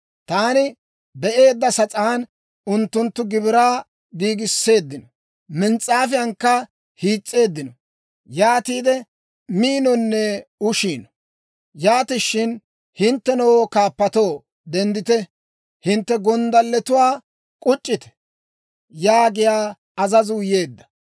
Taani be'eedda sas'aan unttunttu gibiraa giigisseeddino; mins's'aafiyaakka hiis's'eeddino; yaatiide miinonne ushiino. Yaatishin, «Hinttenoo kaappatoo, denddite! Hintte gonddalletuwaa k'uc'c'ite!» yaagiyaa azazuu yeedda.